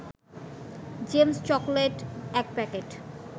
James chocolate ১ packet